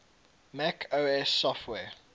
mac os software